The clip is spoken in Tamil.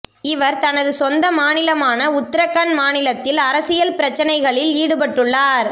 இவர் தனது சொந்த மாநிலமான உத்தரகண்ட் மாநிலத்தில் அரசியல் பிரச்சினைகளில் ஈடுபட்டுள்ளார்